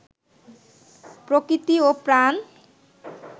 প্রকৃতি ও প্রাণ